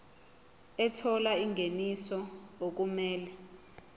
ethola ingeniso okumele